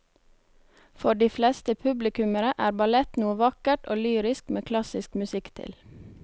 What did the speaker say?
For de fleste publikummere er ballett noe vakkert og lyrisk med klassisk musikk til.